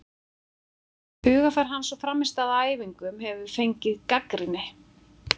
Hugarfar hans og frammistaða á æfingum hefur fengið gagnrýni.